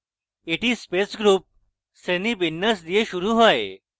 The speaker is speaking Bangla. এটি space group শ্রেণীবিন্যাস দিয়ে শুরু হয়